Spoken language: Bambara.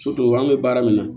an bɛ baara min na